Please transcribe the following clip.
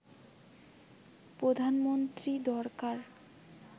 প্রধানমন্ত্রী দরকার